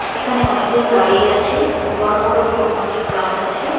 এখানে অনেকজন দাঁড়িয়ে আছে বড়ো বড়ো ক অনেক গাছ আছে।